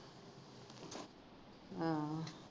ਹਮ